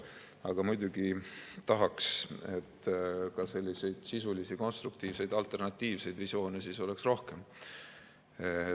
Aga muidugi tahaks, et sisulisi, konstruktiivseid ja alternatiivseid visioone oleks rohkem.